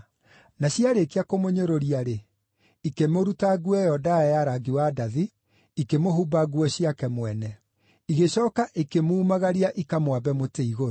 Na ciarĩkia kũmũnyũrũria-rĩ, ikĩmũruta nguo ĩyo ndaaya ya rangi wa ndathi, ikĩmũhumba nguo ciake mwene. Igĩcooka ikĩmuumagaria ikamwambe mũtĩ igũrũ.